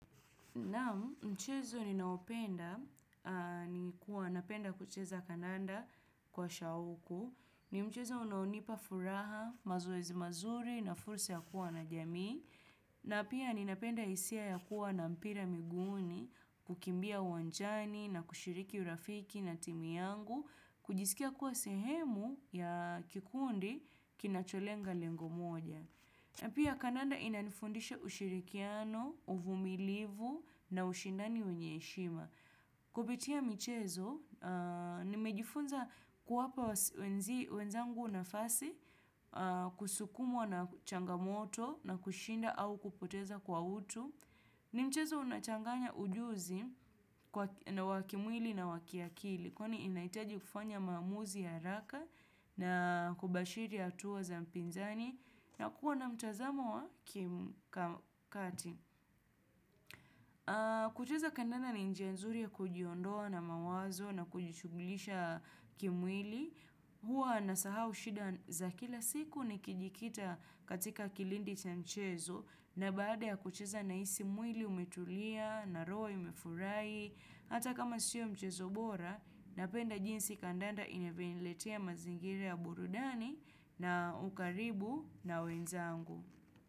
Naam mchezo ninaopenda ni kuwa napenda kucheza kandanda kwa shauku. Ni mchezo unaonipa furaha, mazoezi mazuri na fursa ya kuwa na jamii. Na pia ni napenda hisia ya kuwa na mpira miguuni, kukimbia uwanjani na kushiriki urafiki na timu yangu, kujisikia kuwa sehemu ya kikundi kinacholenga lengo moja. Na pia kandanda inanifundisha ushirikiano, uvumilivu na ushindani wenye heshima. Kupitia michezo, nimejifunza kuwapa wenzangu na fasi kusukumwa na changamoto na kushinda au kupoteza kwa utu. Ni mchezo unachanganya ujuzi na wakimwili na wakiakili. Kwani inahitaji kufanya maamuzi ya haraka na kubashiri hatuwa za mpinzani na kuwa na mtazamo wa kim kati. Kucheza kandanda ni njia nzuri ya kujiondoa na mawazo na kujishughulisha kimwili. Hua nasahau shida za kila siku nikijikita katika kilindi cha mchezo na baada ya kucheza na hisi mwili umetulia na roho imefurahi. Hata kama siyo mchezo bora, napenda jinsi kandanda inavyoniletea mazingira ya burudani na ukaribu na wenzangu.